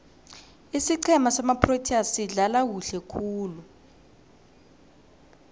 isiqhema samaproteas sidlala kuhle khulu